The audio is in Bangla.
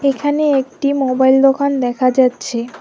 এখানে একটি মোবাইল দোকান দেখা যাচ্ছে।